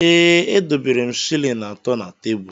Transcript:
Ee, edobere m shịlịn atọ na tebul.